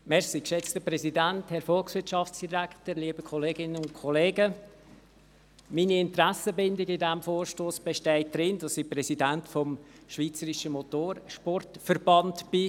Meine Interessenbindung bei diesem Vorstoss besteht darin, dass ich Präsident des Schweizerischen Motorsportverbands bin.